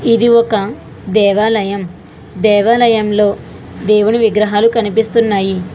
ఇది ఒక దేవాలయం దేవాలయంలో దేవుని విగ్రహాలు కనిపిస్తున్నాయి